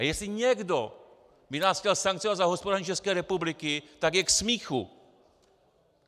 A jestli někdo by nás chtěl sankcionovat za hospodaření České republiky, tak je k smíchu.